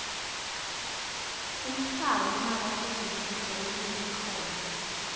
umhlaba longakasetjentiswa lonelikhono